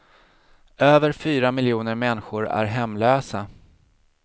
Över fyra miljoner människor är hemlösa.